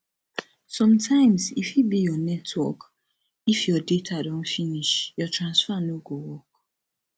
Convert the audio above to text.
sometimes e fit be your network if your data don finish your transfer no go work